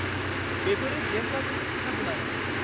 -बेफोरो जेब्लाबो खाजोना होनांगौ।